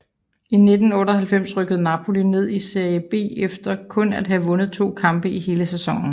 I 1998 rykkede Napoli ned i Serie B efter kun at have vundet to kampe i hele sæsonen